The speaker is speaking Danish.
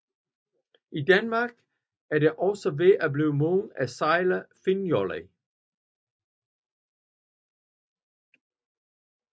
I Danmark er det også ved at blive moderne at sejle finnjolle